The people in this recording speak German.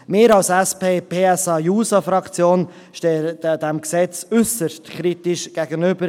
Wir von der SP-JUSO-PSA-Fraktion stehen diesem Gesetz äusserst kritisch gegenüber.